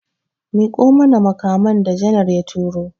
Miƙo mana makaman da janar ya turo!